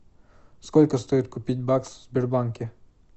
сколько стоит купить баксы в сбербанке